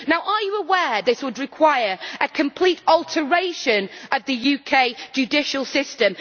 Are you aware that this would require a complete alteration in the UK judicial system?